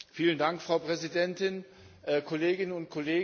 Frau Präsidentin, Kolleginnen und Kollegen!